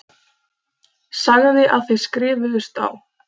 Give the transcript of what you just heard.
Sagði að þið skrifuðust á.